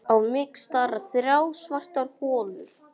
Á mig stara þrjár svartar holur.